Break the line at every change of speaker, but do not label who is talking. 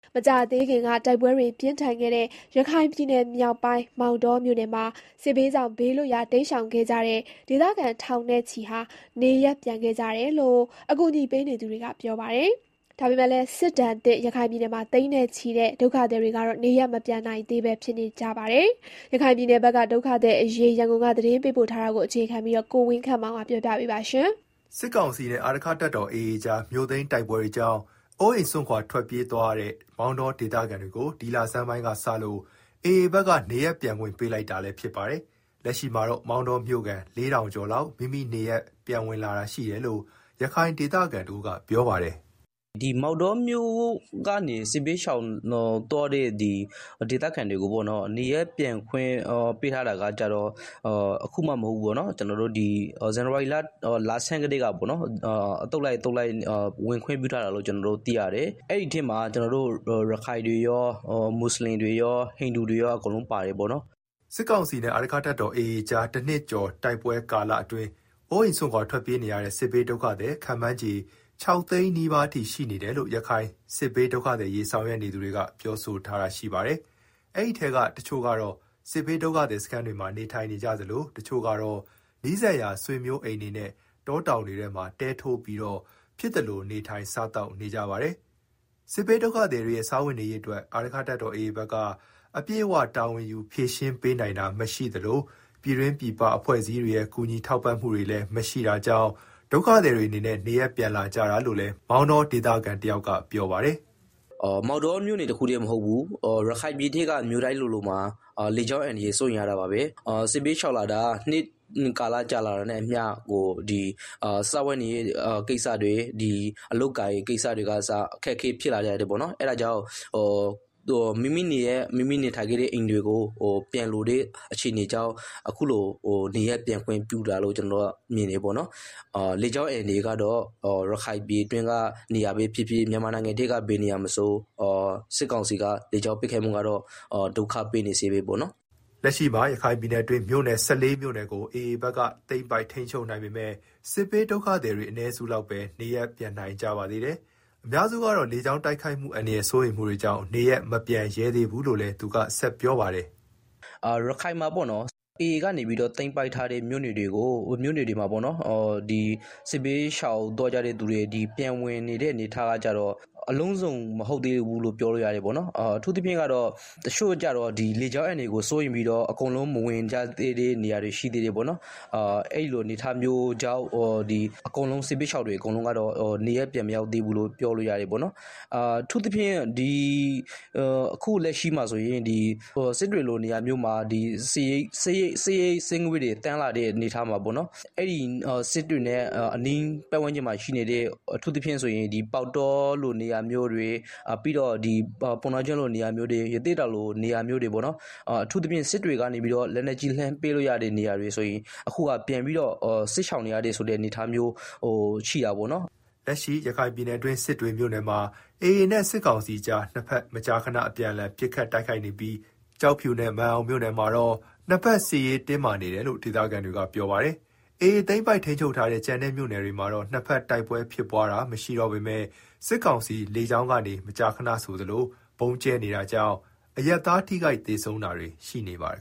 မကြာသေးခင်က တိုက်ပွဲတွေ ပြင်းထန်ခဲ့တဲ့ ရခိုင်ပြည်နယ်မြောက်ပိုင်း မောင်တောမြို့နယ်မှာ စစ်ဘေးကြောင့် ဘေးလွတ်ရာ တိမ်းရှောင်ခဲ့ကြတဲ့ ဒေသခံ ထောင်နဲ့ချီ နေရပ်ပြန်ခဲ့ကြတယ်လို့ အကူအညီပေးနေသူတွေက ပြောပါတယ်။ ဒါပေမဲ့လည်း စစ်ဒဏ်သင့် ရခိုင်ပြည်နယ်မှာ သိန်းနဲ့ချီတဲ့ ဒုက္ခသည်တွေ နေရပ်မပြန်နိုင်သေးပဲ ဖြစ်နေကြတာပါ။ ရခိုင်ပြည်နယ်က ဒုက္ခသည်အရေး ရန်ကုန်က သတင်းပေးပို့ထားပါတယ်
။ စစ်ကောင်စီနဲ့ အာရက္ခတပ်တော် AA ကြား မြို့သိမ်းတိုက်ပွဲတွေကြောင့် အိုးစွန့်ခွာထွက်ပြေးသွားရတဲ့ မောင်တောဒေသခံတွေကို ဒီလဆန်းပိုင်းက စလို့ AA ဘက်က နေရပ်ပြန်ခွင့်ပေးလိုက်ပါတယ်။ လက်ရှိမှာတော့ မောင်တောမြို့ခံ ၄,၀၀၀ ကျော်လောက် မိမိနေရပ်ပြန်ဝင်လာတာရှိတယ်လို့ ရခိုင်ဒေသခံတဦးကပြောပါတ
ယ်။ “မောင်တောမြို့ကနေ စစ်ဘေးရှောင်သွားတဲ့ စစ်ဘေးရှောင်တွေကို နေရပ်ပြန်ခွင့်ပြုတာကတော့ အခုမှ မဟုတ်ဘူးပေါ့နော်၊ ဇန်နဝါရီလ, လဆန်းကတည်းက အသုတ်လိုက် အသုတ်လိုက်ဝင်ခွင့်ပြုထားတာလို့ ကျနော်တို့သိရတယ်။ အဲဒီထဲမှာ ကျနော်တို့ ရခိုင်တွေရော၊ မွတ်ဆလင်တွေရော၊ ဟိန္ဒူတွေရော အကုန် လုံးပါတယ်ပေါ့နော်။” စစ်ကောင်စီနဲ့ အ
ာရက္ခတပ်တော် AA ကြား တနှစ်ကျော်တိုက်ပွဲကာလအတွင်း အိုးအိမ်စွန့်ခွာထွက်ပြေးနေရတဲ့ စစ်ဘေးဒုက္ခသည် ခန့်မှန်းခြေ ၆ သိန်းနီးပါးအထိရှိနေတယ်လို့ ရခိုင် စစ်ဘေးဒုက္ခသည်အရေး ဆောင်ရွက်နေ သူတွေက ပြောထားပါတယ်။ အဲဒီထဲက တချို့ကတော့ စစ်ဘေးဒုက္ခသည်စခန်းတွေမှာ နေထိုင်ကြသလို တချို့ ကတော့ နီးစပ်ရာ ဆွေမျိုးအိမ်တွေနဲ့ တောတောင်တွေထဲမှာ တဲထိုးပြီးတော့ ဖြစ်သလို နေထိုင်စားသောက် နေကြပါတယ်။ စစ်ဘေးဒုက္ခသည်တွေရဲ့ စားဝတ်နေရေးအတွက် အာရက္ခတပ်တော် AA ဘက်က အပြည့်အဝ တာဝန်ယူ ပေးနိုင်တာမရှိသလို ပြည်တွင်းပြည်ပအဖွဲ့အစည်းတွေရဲ့ ကူညီထောက်ပံ့မှုတွေလည်း မရှိတာကြောင့် ဒုက္ခသည်တွ
ေအနေနဲ့ နေရပ်ပြန်လာကြတာလို့လည်း မောင်တောဒေသခံတယောက ကပြောပါတယ်။ “မောင်တောမြို့နယ် တခုတည်းမဟုတ်ဘူး။ ရခိုင်ပြည်နယ်က မြို့နယ်တိုင်းလိုလိုမှာ လေကြောင်း အန္တရာယ် စိုးရိမ်ရတာပါပဲ။ စစ်ဘေးရှောင်လာတာ နှစ်ကာလကြာလာနဲ့အမျှ စားဝတ်နေရေးကိစ္စတွေ၊ ပြီးတော့ အလုပ်အကိုင်ကိစ္စတွေကအစ အခက်အခဲဖြစ်လာကြတယ်။ အဲဒါကြောင့် မိမိနေရပ် မိမိနေထိုင်ခဲ့တဲ့ အိမ်တွေကို ပြန်လိုကြတာကြောင့် အခုလို နေရပ်ပြန်ခွင့်ပြုတာလို့ ကျနော်တို့က မြင်တယ်။ လေကြောင်းအန္တရာယ်ကတော့ ရခိုင်ပြည်နယ်အတွင်းသာမက မြန်မာနိုင်ငံအတွင်းက ဘယ်နေရာမဆို စစ်ကောင်စီကတော့ လေကြောင်းပစ်ခတ်မှုကတော့ ဒုက္ခပေးနေဆဲပေါ့နော်။” လက်ရှိမှာတော့ ရခိုင်ပြည်နယ
်အတွင်း မြို့နယ် ၁၄ မြို့နယ်ကို AA ဘက်က သိမ်းပိုက်ထိန်းချုပ်နိုင်ပေမယ့် စစ်ဘေးဒုက္ခသည်တွေ အနည်းစုလောက်ပဲ နေရပ်ပြန်နိုင်ကြပါသေးတယ်။ အများစုကတော့ လေကြောင်း တိုက်ခိုက်မှု အန္တရာယ်စိုးရိမ်မှုတွေ
ကြောင့် နေရပ်မပြန်ရဲသေးဘူးလို့လည်း သူကဆက်ပြောပါတယ်။ “ရခိုင်ပြည်နယ်မှာ AA က သိမ်းပိုက်ထားတဲ့မြို့နယ်တွေက စစ်ဘေးရှောင်သွားကြတဲ့သူတွေ ပြန်ဝင်နေတဲ့ အနေအထားကကျတော့ အလုံးစုံ မဟုတ်သေးဘူးလို့ ပြောလို့ရတယ်ပေါ့နော်။ အထူးသဖြင့် တချို့ကျတော့ လေကြောင်းအန္တရာယ်ကို စိုးရိမ်ပြီးတော့ မဝင်ကြသေးတဲ့ နေရာတွေရှိ သေးတယ်။ အထူးသဖြင့် စစ်တွေလို နေရာမျိုးမှာ စစ်ရိပ်စစ်ငွေ့တွေသန်းလာတာကြောင့် စစ်တွေနဲ့ အနီးပတ်ဝန်ကျင်မှာရှိနေတဲ့ ပေါက်တောတို့၊ ပုဏ္ဏားကျွန်းတို့၊ ရသေ့တောင်လိုနေရာတွေ အထူးသဖြင့် စစ်တွေက လက်နက်ကြီးနဲ့လှမ်းပစ်လို့ရတဲ့နေရာတွေ ဆိုရင် အခုကပြန်ပြီး စစ်ရှောင်နေရတဲ့ အနေအထားရှိတယ်။” လက်ရှိရခိုင်ပြည်နယ်အတွင်း စစ်တွေမြို့နယ်မှာ AA နဲ့ စစ်ကောင်စီကြား နှစ်ဘက
်မကြခဏ အပြန်အလှန် ပစ်ခတ်တိုက်ခိုက်နေပြီး ကျောက်ဖြူ နဲ့ မာန်အောင်မြို့နယ်မှာတော့ နှစ်ဘက်စစ်ရေးတင်းမာနေတယ်လို့ ဒေသခံတွေက ပြောပါတယ်။ AA သိမ်းပိုက်ထိန်းချုပ်ထားတဲ့ ကျန်တဲ့မြို့နယ်တွေမှာတော့ နှစ်ဘက်တိုက်ပွဲဖြစ် ဖြစ်ပွားတာမရှိတော့ပေမယ့် စစ်ကောင်စီက လေကြောင်းက မကြာခဏဆိုသလို ဗုံးကြဲနေတာကြောင့် အရပ်သား ထိခိုက်သေဆုံးတာတွေ ရှိနေပါတယ်